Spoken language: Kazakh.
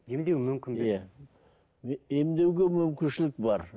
емдеу мүмкін бе емдеуге мүмкіншілік бар